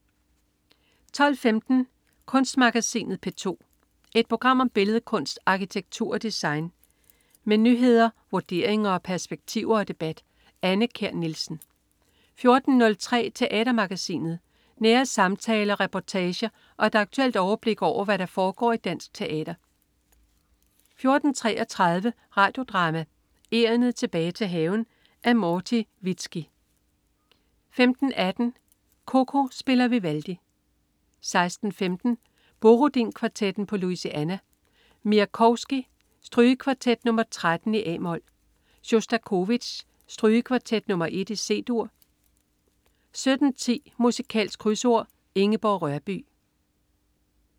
12.15 Kunstmagasinet P2. Et program om billedkunst, arkitektur og design. Med nyheder, vurderinger, perspektiver og debat. Anne Kjær Nielsen 14.03 Teatermagasinet. Nære samtaler, reportager og et aktuelt overblik over, hvad der foregår i dansk teater 14.33 Radio Drama: Egernet tilbage til haven. Af Morti Vizki 15.18 CoCo spiller Vivaldi 16.15 Borodin Kvartetten på Louisiana. Miaskovsky: Strygekvartet nr. 13, a-mol. Sjostakovitj: Strygekvartet nr. 1, C-dur 17.10 Musikalsk Krydsord. Ingeborg Rørbye